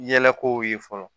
Yɛlɛko ye fɔlɔ